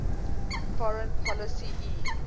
foreign policy e